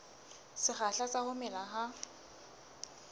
sekgahla sa ho mela ha